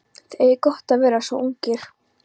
Þið eigið gott að vera svona ungir.